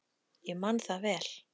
Ég man það vel.